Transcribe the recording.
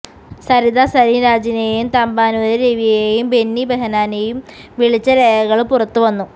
സരിത സലിംരാജിനെയും തമ്പാനുര് രവിയേയും ബെന്നി ബെഹ്നാനെയും വിളിച്ച രേഖകള് പുറത്തു വന്നു